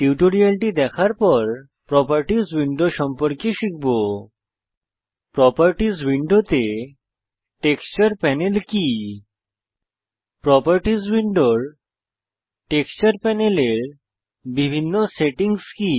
টিউটোরিয়ালটি দেখার পর প্রোপার্টিস উইন্ডো সম্পর্কে শিখব প্রোপার্টিস উইন্ডোতে টেক্সচার প্যানেল কি প্রোপার্টিস উইন্ডোর টেক্সচার প্যানেলের বিভিন্ন সেটিংস কি